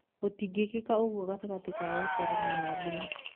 Gũtingĩkĩka ũguo gatagatĩ ka wacera na Nyambura.